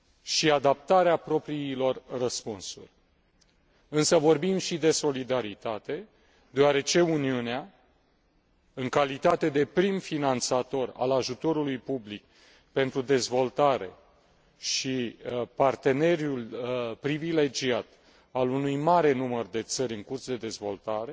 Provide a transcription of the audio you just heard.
și adaptarea propriilor răspunsuri, însă vorbim și de solidaritate deoarece Uniunea, în calitate de prim finanțator al ajutorului public pentru dezvoltare și partener privilegiat al unui mare număr de țări în curs de dezvoltare,